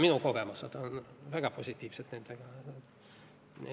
Minu kogemused nendega on väga positiivsed.